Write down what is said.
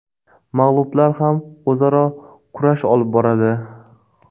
Mag‘lublar ham o‘zaro kurash olib boradi.